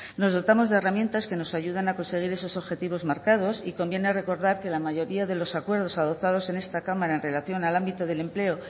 nos dotamos de herramientas que nos ayudan a conseguir esos objetivos marcados y conviene recordar que la mayoría de los acuerdos adoptados en esta cámara en relación al ámbito del empleo